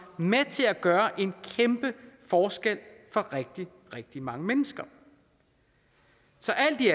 med til at gøre en kæmpe forskel for rigtig rigtig mange mennesker så alt i